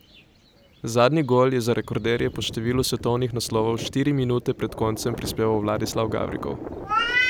Zadnji gol je za rekorderje po številu svetovnih naslovov štiri minute pred koncem prispeval Vladislav Gavrikov.